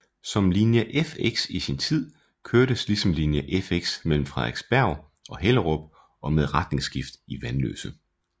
Som linje Fx i sin tid kørtes ligesom linje F mellem Frederiksberg og Hellerup og med retningsskift i Vanløse